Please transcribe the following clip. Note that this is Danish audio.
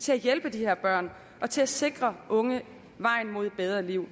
til at hjælpe de her børn og til at sikre unge vejen mod et bedre liv